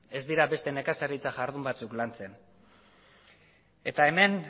ez dira beste nekazaritza jardun batzuk lantzen eta hemen